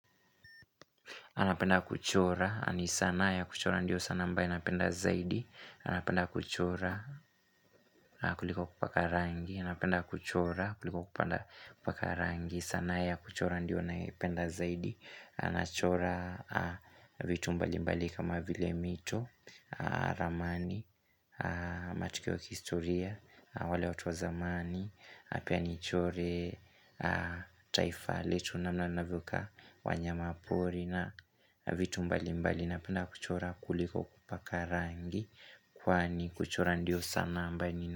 Napenda kuchora. Yaani sanaa ya kuchora ndiyo sanaa ambaye. Napenda zaidi. Napenda kuchora kuliko kupaka rangi. Napenda kuchora kuliko kupaka rangi. Sanaa ya kuchora ndiyo nayoipenda zaidi. Nachora vitu mbali mbali kama vile mito, ramani, matukio ya kihistoria, wale watu wa zamani. Na pia nichore taifa letu namna inavyo kaa wanyama pori na vitu mbali mbali Napenda kuchora kuliko kupaka rangi Kwani kuchora ndio sanaa ambayo.